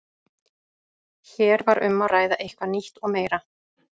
Hér var um að ræða eitthvað nýtt og meira.